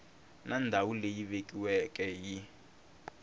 na ndhawu leyi vekiweke hi